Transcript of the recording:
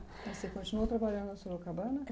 Você continuou trabalhando na Sorocabana?